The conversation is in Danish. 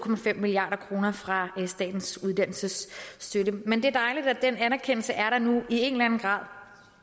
milliard kroner fra statens uddannelsesstøtte men det er dejligt at den anerkendelse er der nu i en eller anden grad